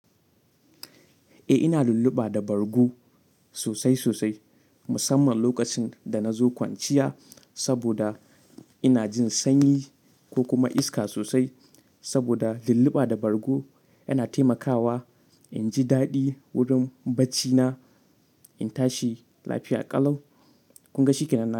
Eh ina lulluɓa da bargo sosai sosai musamman lokacin da nazo kwanciya saboda ina jin sanyi ko kuma iska sosai saboda lulluɓa da bargo yana taimakawa inji daɗi wurin bacci na in tashi lafiya ƙalau. Kun ga shi kenan na.